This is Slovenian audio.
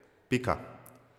Pika.